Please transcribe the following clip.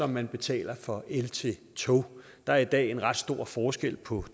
man betaler for el til tog der er i dag ret stor forskel på